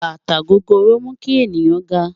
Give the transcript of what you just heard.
Bátà gògóró mú kí ènìyàn gá